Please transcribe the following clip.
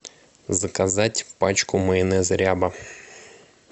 заказать пачку майонеза ряба